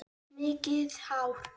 Mikið hár.